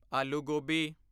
ਆਲੂ ਗੋਬੀ